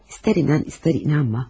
İstər inan, istər inanma.